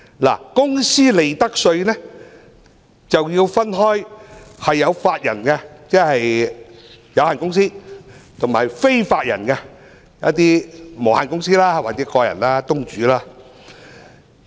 在公司利得稅方面，便要分為有法人即有限公司，與非法人即無限公司或個人公司或東主。